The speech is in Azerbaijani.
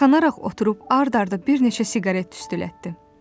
Yayxanaraq oturub ard-arda bir neçə siqaret tüstülətdi.